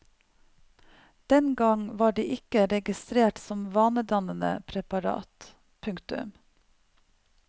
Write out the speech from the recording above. Den gang var de ikke registrert som vanedannende preparat. punktum